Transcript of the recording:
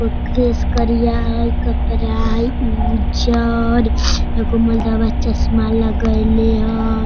Suitcase करिया हई कपड़ा हई उज्जर एगो मर्दवा चश्मा लगेले हई।